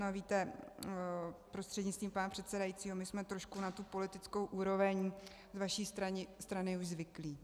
No víte, prostřednictvím pana předsedajícího, my jsme trošku na tu politickou úroveň z vaší strany už zvyklí.